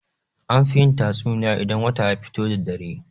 An fi yin tatsuniya idan wata ya fito da dare.